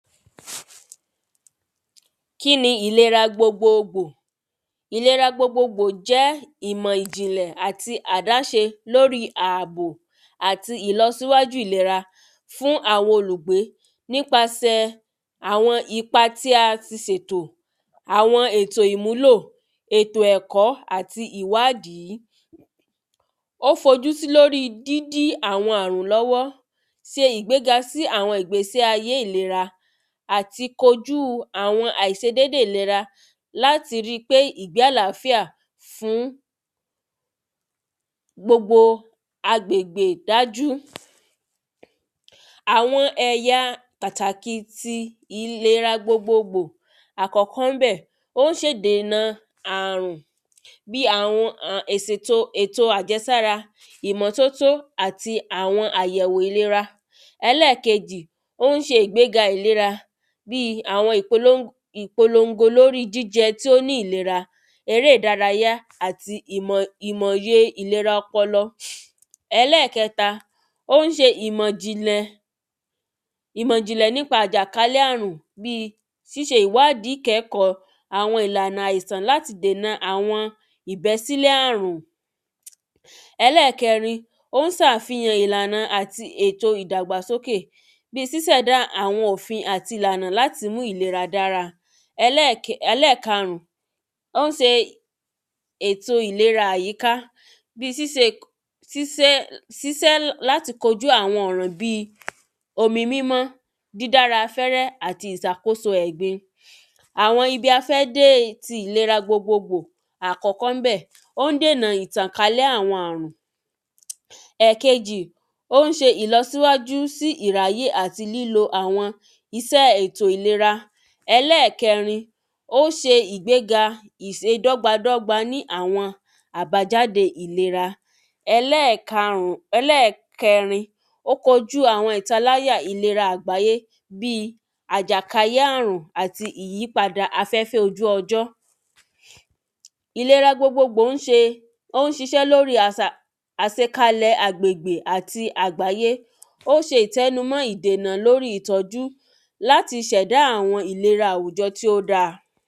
kíni ìlera gbogbogbò? ìlera gbogbogbò jẹ́ ìmọ̀ ìjìnlẹ̀ àti àdáṣe lóri àbò àti ìlọ́síwájú ìlera fún àwọn olùgbé nípasẹ̀ àwọn ipa tí a ti sètò àwọn ètò ìmúlò, ètò ẹ̀kọ́ àti ìwádìí ó fojú sí lórí dídí àwọn àrùn lọ́wọ́ ṣe ìgbéga sí àwọn ìgbésí ayé àti kojú àwọn àìṣedédé ìlera láti ri pé ìgbé àláfíà fún gbogbo àgbe˧gbè dájú àwọn ẹ̀ya pàtàkì ti ìlera gbogbo àkọ́kọ́ ńbẹ̀ ó ń ṣe dèna àrùn bíi àwọn ọn ìsèto èto àjẹsára, ìmọ́tótó àti àwọn àyẹ̀wò ìlera ẹlẹ́kejì, ó ń ṣe ìgbéga ìlera bíi àwọn ìpolóng ìpolóngo lórí jíjẹ tí ó ní ìlera eré ìdárayá àti ìmọ̀ ìmọ̀ òye ìlera ọpọlọ ẹlẹ́kẹ́ta, ó ń ṣe ìmọ̀ jìnlẹ ìmọ̀ jìnlẹ̀ nípa àjàkálẹ̀ àrùn bíi ṣíṣe ìwádí kẹ́kọ̀ọ́ àwọn ìlànà àìsàn láti dèna àwọn ìbẹ́sílẹ̀ àrùn ẹlẹ́kẹrin ón sàfihàn ìlànà àti èto ìdàgbàsókè bíi sísẹ̀dá àwọn òfin àti ìlànà láti mú ìlera dára ẹlẹ́kẹ́ ẹlẹ́kàrún, ón se ètò ìlera àyíká bíi síse sísẹ́ sísẹ́ láti kojú àwọn ọ̀ràn bíi omi mímọ́ dídára afẹ́rẹ́ àti ìsàkóso ẹ̀gbin àwọn ibi afẹ́dé ti ìlera gbogbogbò, àkọ́kọ́ ńbẹ̀ ón dènà ìtànkálẹ̀ àwọn àrùn ẹ̀kéjì, ón ṣe ìlọsíwájú sí ìráyè àti lílo àwọn isẹ́ ètò ìlera ẹlẹ́kẹ́rin, ó ṣe ìgbéga ìse dọ́gbádọ́gbá ní àwọn àbájáde ìlera ẹlẹ́kàrùn, ẹlẹ́kẹ́rin, ó kojú àwọn ìtaláyà ìlera àgbáyé bíi àjàkáyé àrùn àti ìyípadà afẹ́fẹ́ ojú ọjọ́ ìlera gbogbogbò ń ṣe ón ṣiṣẹ́ lóri àsà àsekalẹ̀ agbègbè àti àgbáyé ó ṣe ìtẹ́numọ́ ìdènà lóri ìtọ́jú láti ṣẹ̀dá àwọn ìlera tí ó dáa